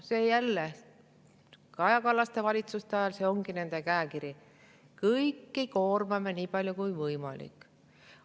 Jälle, Kaja Kallase valitsustel ongi selline käekiri: kõiki koormame nii palju, kui on võimalik.